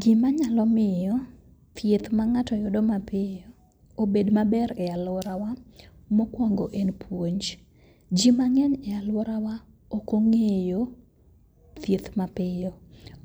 Gima nyalo miyo thieth ma ng'ato yudo mapiyo obed maber e alworawa mokwongo en puonj. Ji mang'eny e alworawa okong'eyo thieth mapiyo,